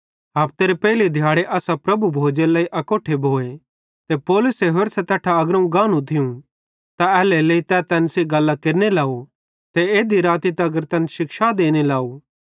हफतेरे पेइले दिहाड़े असां प्रभु भोजेरे लेइ अकोट्ठे भोए ते पौलुसे होरसां तैट्ठां अग्रोवं गानू थियूं त एल्हेरेलेइ तै तैन सेइं गल्लां केरने लाव ते एध्धी राती तगर तैन शिक्षा देने लाव